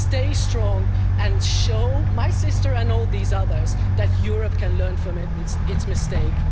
are there. Stay strong and show my sister and all these others that Europe can learn from its